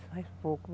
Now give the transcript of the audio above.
Faz pouco.